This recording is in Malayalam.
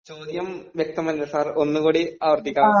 ചോദ്യം വ്യക്തമല്ല സർ ഒന്ന് കൂടി ആവർത്തിക്കാമോ